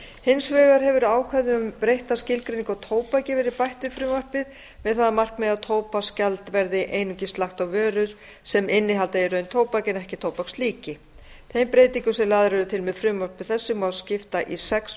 hins vegar hefur ákvæði um breytta skilgreiningu á tóbaki verið bætt við frumvarpið með það að markmiði að tóbaksgjald verði einungis lagt á vörur sem innihalda í raun tóbak en ekki tóbakslíki þeim breytingum sem lagðar eru til með frumvarpi þessu má skipta í sex